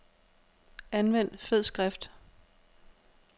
Anvend fed skrift.